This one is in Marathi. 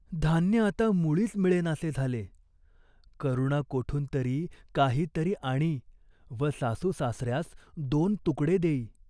धान्य आता मुळीच मिळेनासे झाले. करुणा कोठून तरी, काही तरी आणी व सासूसासऱ्यास दोन तुकडे देई.